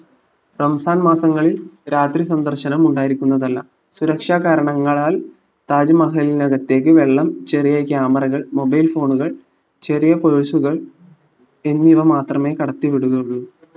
റംസാൻ മാസങ്ങളിൽ രാത്രി സന്ദർശനമുണ്ടായിരിക്കുന്നതല്ല സുരക്ഷാ കാരണങ്ങളാൽ താജ്മഹലിനകത്തേക്ക് വെള്ളം ചെറിയ camera കൾ mobile phone കൾ ചെറിയ purse കൾ എന്നിവ മാത്രമേ കടത്തി വിടുകയുള്ളൂ